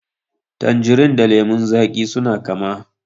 Tanjirin da lemon zaƙi suna kama.